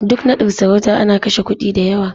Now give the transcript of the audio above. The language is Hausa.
Duk naɗin sarauta ana kashe kuɗi da yawa.